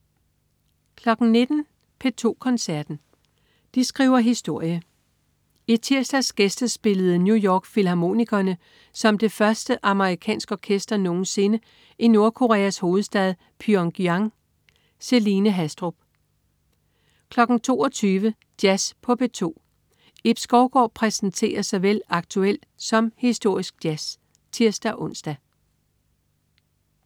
19.00 P2 Koncerten. De skriver historie. I tirsdags gæstespillede New York Filharmonikerne som det første amerikansk orkester nogen sinde i Nordkoreas hovedstad Pyongyang. Celine Haastrup 22.00 Jazz på P2. Ib Skovgaard præsenterer såvel aktuel som historisk jazz (tirs-ons)